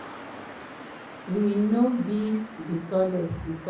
“we no be di tallest” e tok.